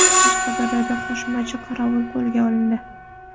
Qashqadaryoda qo‘shmachi qorovul qo‘lga olindi.